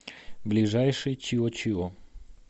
ближайший чио чио